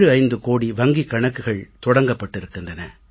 75 கோடி வங்கிக் கணக்குகள் தொடங்கப்பட்டிருக்கின்றன